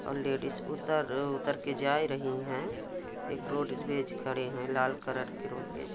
और लेडी उतर उतरके जा रही है एक रोडवेज खड़े है लाल कलर के रोडवेज--